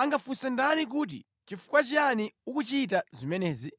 angafunse ndani kuti, ‘Nʼchifukwa chiyani ukuchita zimenezi?’ ”